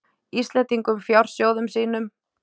Íslendingum fjársjóðum sínum.